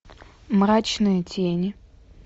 мрачные тени